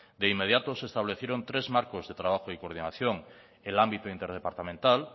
de inmediato se establecieron tres marcos de trabajo y coordinación el ámbito interdepartamental